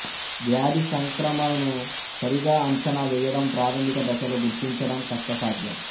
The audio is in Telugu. వ్యాధి సంక్రమణను సరిగా అంచనా వేయడం ప్రాథమిక దశలో గుర్తించడం కష్ట సాధ్యం